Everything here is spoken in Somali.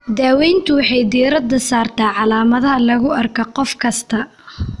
Daaweyntu waxay diiradda saartaa calaamadaha lagu arko qof kasta.